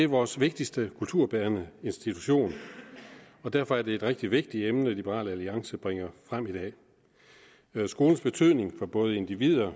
vores vigtigste kulturbærende institution derfor er det et rigtig vigtigt emne liberal alliance bringer frem i dag skolens betydning for både individer